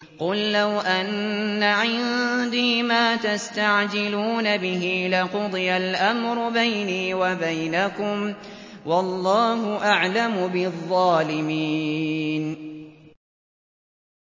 قُل لَّوْ أَنَّ عِندِي مَا تَسْتَعْجِلُونَ بِهِ لَقُضِيَ الْأَمْرُ بَيْنِي وَبَيْنَكُمْ ۗ وَاللَّهُ أَعْلَمُ بِالظَّالِمِينَ